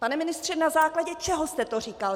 Pane ministře, na základě čeho jste to říkal?